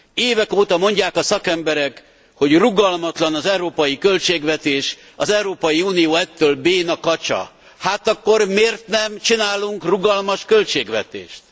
Évek óta mondják a szakemberek, hogy rugalmatlan az európai költségvetés, az Európai Unió ettől béna kacsa. Hát akkor miért nem csinálunk rugalmas költségvetést?